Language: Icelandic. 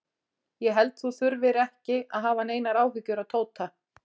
Ég held þú þurfir ekki að hafa neinar áhyggjur af Tóta.